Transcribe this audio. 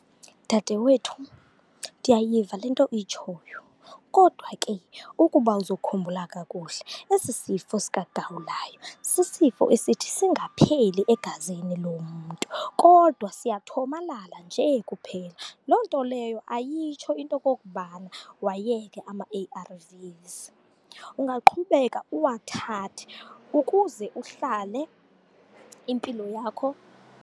Dade wethu, ndiyayiva le nto uyitshoyo kodwa ke ukuba uzokhumbula kakuhle, esi sifo sikagawulayo sisifo esithi singapheli egazini lomntu, kodwa siyathomalala nje kuphela. Loo nto leyo ayitsho into okokubana wayeke amaA_R_Vs, ungaqhubeka uwathathe ukuze uhlale impilo yakho.